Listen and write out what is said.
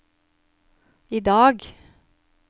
idag